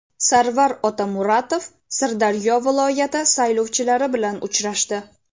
Sarvar Otamuratov Sirdaryo viloyati saylovchilari bilan uchrashdi.